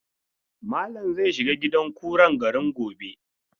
Malam zai shiga gidan kuran garin gobe.